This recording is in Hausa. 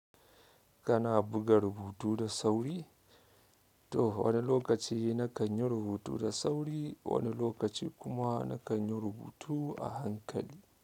Kana buga rubutu da sauri? To wani lokaci na kan yi rubutu da sauri, wani lokaci kuma na kan yi rubutu a hankali.